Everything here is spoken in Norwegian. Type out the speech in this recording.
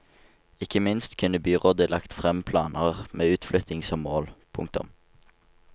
Ikke minst kunne byrådet lagt frem planer med utflytting som mål. punktum